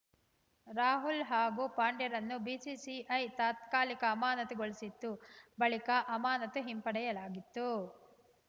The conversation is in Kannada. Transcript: ರಾಹುಲ್‌ ಹಾಗೂ ಪಾಂಡ್ಯರನ್ನು ಬಿಸಿಸಿಐ ತಾತ್ಕಾಲಿಕ ಅಮಾನತುಗೊಳಸಿತ್ತು ಬಳಿಕ ಅಮಾನತು ಹಿಂಪಡೆಯಲಾಗಿತ್ತು